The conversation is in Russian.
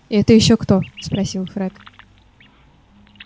это ещё кто спросил фред